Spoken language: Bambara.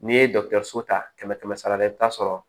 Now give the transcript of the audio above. N'i ye dɔkitɛriso ta kɛmɛ kɛmɛ sara la i bɛ taa sɔrɔ